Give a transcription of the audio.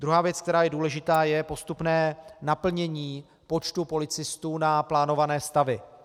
Druhá věc, která je důležitá, je postupné naplnění počtu policistů na plánované stavy.